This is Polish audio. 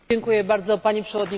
Pani Przewodnicząca!